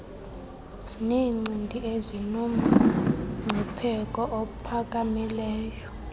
neencindi ezinomngcipheko ophakamileyo